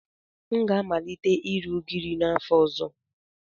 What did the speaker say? M ga-amalite ire ugiri n'afọ ọzọ.